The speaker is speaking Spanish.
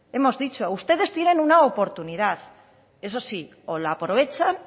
hemos dicho ustedes tienen una oportunidad eso sí o la aprovechan